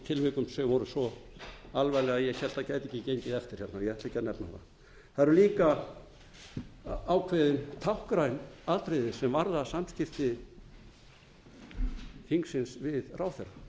tilvikum sem voru svo alvarleg að ég hélt að það álit ekki gengið eftir hérna og ég ætla ekki að nefna það það eru líka ákveðin táknræn atriði sem varða samskipti þingsins við ráðherra